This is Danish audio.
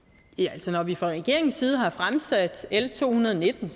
altså når vi fra regeringens side har fremsat l to hundrede og nitten